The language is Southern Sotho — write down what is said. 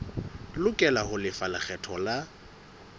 lokela ho lefa lekgetho la